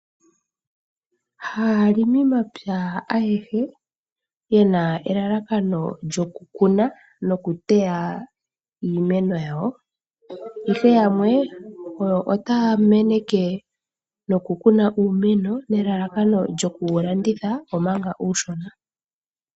Ha aalimi mapya ayehe yena elalakano lyoku kuna noku teya iimeno yawo. Ihe yamwe oyo otaya meneke noku kuna uumeno nelalakano lyoku ku wu landitha omanga uushona .